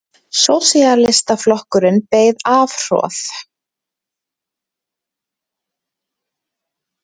Sósíalistaflokkurinn beið afhroð